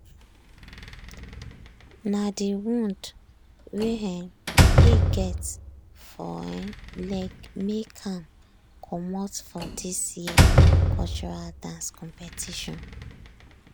na de wound wey um e get for um leg make ahm commot for dis year cultural dance competition